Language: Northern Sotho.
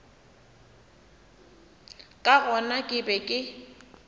ka gona ke be ke